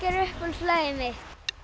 er uppáhaldslagið mitt